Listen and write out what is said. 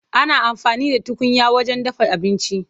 Ana amfani da tukunya wajen dafa abinci.